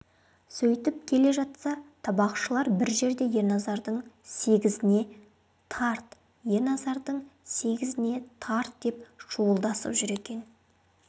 сөйтіп келе жатса табақшылар бір жерде ерназардың сегізіне тарт ерназардың сегізіне тарт деп шуылдасып жүр екен